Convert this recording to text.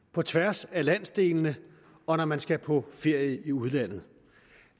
på tværs af landsdelene og når man skal på ferie i udlandet